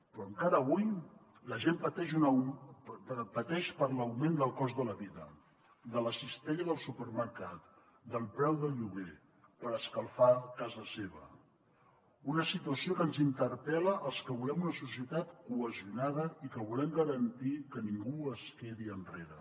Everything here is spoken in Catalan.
però encara avui la gent pateix per l’augment del cost de la vida de la cistella del supermercat del preu del lloguer per escalfar casa seva una situació que ens interpel·la als que volem una societat cohesionada i que volem garantir que ningú es quedi enrere